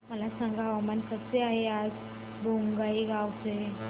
मला सांगा हवामान कसे आहे आज बोंगाईगांव चे